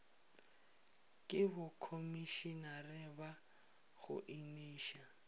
ke bokhomišenare ba go eniša